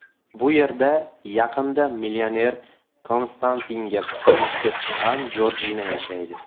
Bu yerda yaqinda millioner Konstantinga turmushga chiqqan Jorjina yashaydi.